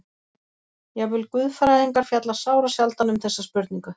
Jafnvel guðfræðingar fjalla sárasjaldan um þessa spurningu!